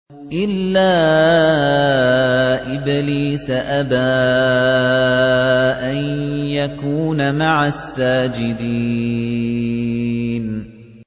إِلَّا إِبْلِيسَ أَبَىٰ أَن يَكُونَ مَعَ السَّاجِدِينَ